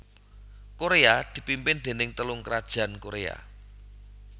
Koréa dipimpin déning Telung krajan Koréa